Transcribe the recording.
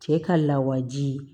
Cɛ ka lawaji